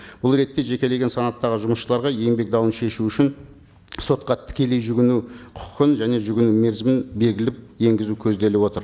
бұл ретте жекелеген санаттағы жұсысшыларға еңбек дауын шешу үшін сотқа тікелей жүгіну құқын және жүгіну мерзімін белгілеп енгізу көзделіп отыр